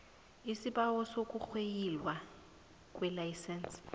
isibawo sokurweyilwa kwelayisense